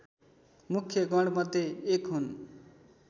मुख्य गणमध्ये एक हुन्